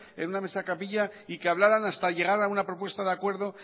en una mesa camilla y que hablaran hasta llegar a una propuesta de acuerdo